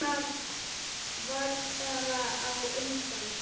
Þetta getur orsakað mikla þreytu.